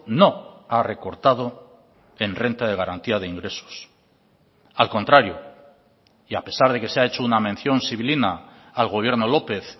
no ha recortado en renta de garantía de ingresos al contrario y a pesar de que se ha hecho una mención sibilina al gobierno lópez